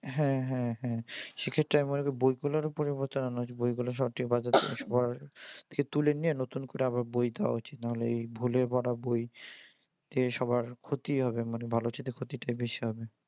হ্যাঁ হ্যাঁ হ্যাঁ সেক্ষেত্রে আমি মনে করি বইগুলার পরিবর্তন হইসে। বইগুলা সবচেয়ে বাজার থেকে তুলে নিয়ে নতুন করে আবার বই দেওয়া উচিত নইলে এই ভুলে ভরা বই এ সবার ক্ষতিই হবে মানে ভালর চেয়ে ক্ষতিটাই বেশি হবে।